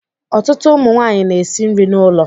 Ọtụtụ ụmụ nwanyị na-esi nri n'ụlọ